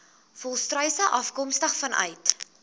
volstruise afkomstig vanuit